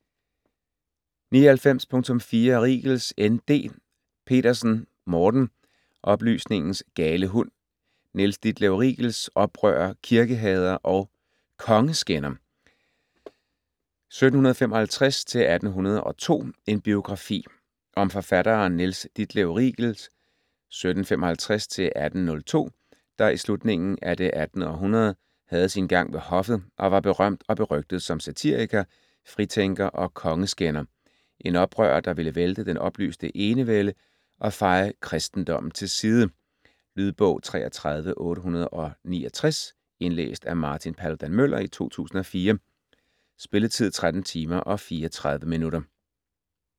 99.4 Riegels, N. D. Petersen, Morten: Oplysningens gale hund: Niels Ditlev Riegels, oprører, kirkehader & kongeskænder, 1755-1802: en biografi Om forfatteren Niels Ditlev Riegels (1755-1802), der i slutningen af det 18. århundrede havde sin gang ved hoffet og var berømt og berygtet som satiriker, fritænker og kongeskænder - en oprører, der ville vælte den oplyste enevælde og feje kristendommen til side. Lydbog 33869 Indlæst af Martin Paludan-Müller, 2004. Spilletid: 13 timer, 34 minutter.